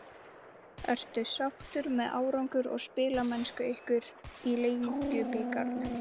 Ertu sáttur með árangur og spilamennsku ykkar í Lengjubikarnum?